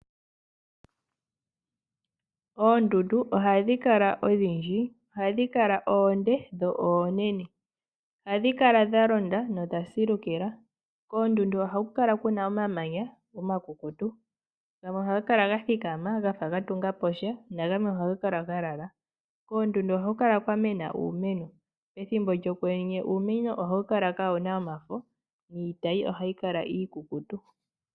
Oondundu ohadhi kala dhashitwa pamiikalo dhayolokathana. Dhimwe onde nonene, dhimwe odha londa nodhimwe odha silukila nohaku kala omamanya omakukutu gamwe oha ga kala gathikama nogamwe oga lala. Koondundu ohaku kala kwamena uumeno nomethimbo lyokwenye uuneno ohawu kala ka wuna omafo niitayi iikukutu.